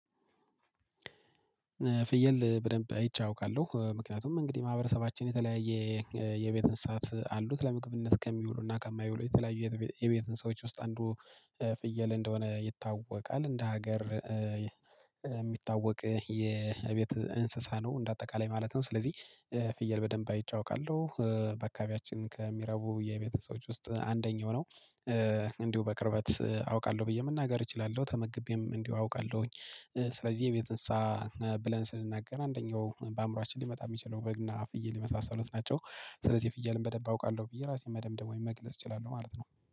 ፍየል በደንብ አይቼ አውቃለሁ። ምክንያቱም እንግዲህ ማህበረሰባችን የተለያየ የቤት እንስሳት አሉት። ለምግብነት ከሚውሉና ከማይውሉ የተለያዩ የቤት እንስሳዎች ውስጥ አንዱ ፍየል እንደሆነ ይታወቃል። እንደ ሀገር የሚታወቅ የቤት እንስሳ ነው እንደ አጠቃላይ ማለት ነው። ስለዚህ ፍየል በደንብ አይቸ አውቃለሁ። በአካባቢያችን ከሚረቡ የቤት እንስሳዎች ውስጥ አንደኛው ነው። እንዲሁ በቅርበት አውቃለሁ ብዬ መናገር እችላለሁ። ተመግቤም እንዲሁ አውቃለሁኝ። ስለዚህ የቤት እንስሳ ብለን ስንናገር አንደኛው በአእምሮአችን ሊመጣ የሚችለው በግና ፍይል የመሳሰሉት ናቸው። ስለዚህ የፍየልን በደንብ አውቃለሁ ብዬ ራሴን መደምደም መግለጽ እችላለሁ ማለት ነው።